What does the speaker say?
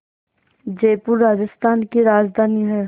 जयपुर राजस्थान की राजधानी है